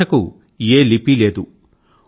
ఈ భాష కు ఏ లిపీ లేదు